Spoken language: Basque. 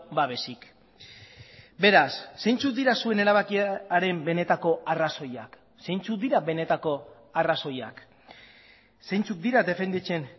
babesik beraz zeintzuk dira zuen erabakiaren benetako arrazoiak zeintzuk dira benetako arrazoiak zeintzuk dira defenditzen